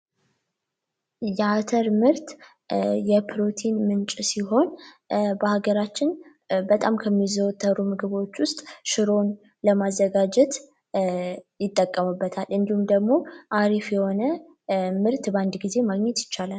የአተር ምርት የፕሮቲን ምንጭ ሲሆን በሀገራችን በጣም ከሚዘወትሩ ምግቦች ውስጥ ሽሩን ለማዘጋጀት ይጠቀሙበታል እንዲሁም ደግሞ አሪፍ የሆነ ምርት በአንድ ጊዜ ማግኘት ይቻላል